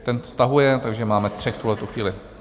Ten stahuje, takže máme tři v tuhletu chvíli.